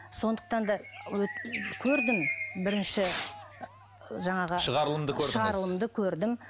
сондықтан да көрдім бірінші ы жаңағы шығарылымды көрдім